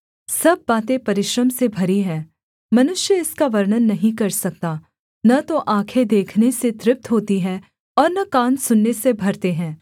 सब बातें परिश्रम से भरी हैं मनुष्य इसका वर्णन नहीं कर सकता न तो आँखें देखने से तृप्त होती हैं और न कान सुनने से भरते हैं